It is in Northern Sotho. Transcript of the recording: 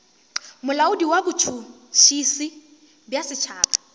molaodi wa botšhotšhisi bja setšhaba